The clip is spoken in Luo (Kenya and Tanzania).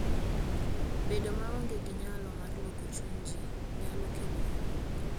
Bedo maonge gi nyalo mar loko chuny ji, nyalo kelo hinyruok.